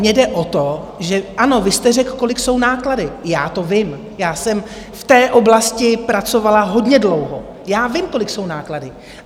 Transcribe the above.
Mně jde o to, že ano, vy jste řekl, kolik jsou náklady, já to vím, já jsem v té oblasti pracovala hodně dlouho, já vím, kolik jsou náklady.